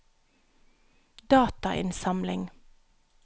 datainnsamling